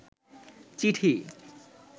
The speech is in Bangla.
চিঠি